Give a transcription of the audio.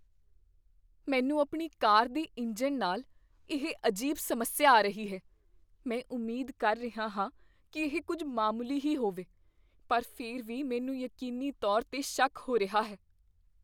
ਮੈਨੂੰ ਆਪਣੀ ਕਾਰ ਦੇ ਇੰਜਣ ਨਾਲ ਇਹ ਅਜੀਬ ਸਮੱਸਿਆ ਆ ਰਹੀ ਹੈ। ਮੈਂ ਉਮੀਦ ਕਰ ਰਿਹਾ ਹਾਂ ਕੀ ਇਹ ਕੁੱਝ ਮਾਮੂਲੀ ਹੀ ਹੋਵੇ, ਪਰ ਫਿਰ ਵੀ ਮੈਨੂੰ ਯਕੀਨੀ ਤੌਰ 'ਤੇ ਸ਼ੱਕ ਹੋ ਰਿਹਾ ਹੈ।